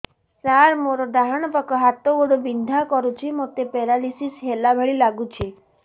ସାର ମୋର ଡାହାଣ ପାଖ ହାତ ଗୋଡ଼ ବିନ୍ଧା କରୁଛି ମୋତେ ପେରାଲିଶିଶ ହେଲା ଭଳି ଲାଗୁଛି